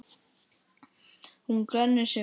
Hún glennir sig.